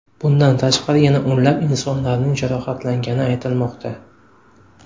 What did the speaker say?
Bundan tashqari yana o‘nlab insonlarning jarohatlangani aytilmoqda.